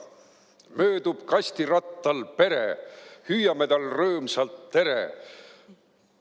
Möödub kastirattal Pere, hüüame tal' rõõmsalt: "Tere!